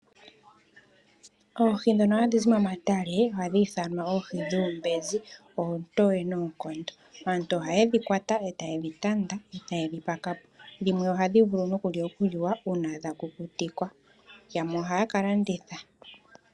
Oohi ndhoka hadhi zi momatale ohadhi ithanwa oohi dhuumbenzi. Aantu ohaye dhi kwata etaye dhi tanda nokudhi pakapo, ohadhi kukutikwa wo noshowo okulandithwa.